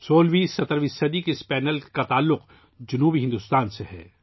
16ویں17ویں صدی کا یہ پینل جنوبی بھارت سے وابستہ ہے